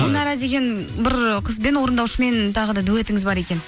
гүлнара деген бір қызбен орындаушымен тағы да дуэтіңіз бар екен